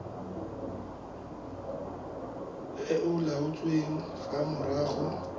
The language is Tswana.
e e laotsweng fa morago